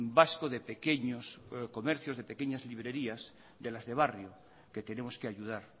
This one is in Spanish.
vasco de pequeños comercios de pequeñas librerías de las de barrio que tenemos que ayudar